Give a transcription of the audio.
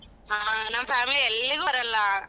ಹಾ ನಮ್ family ಎಲ್ಲಿಗೂ ಬರಲ್ಲ.